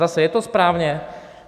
Zase, je to správně?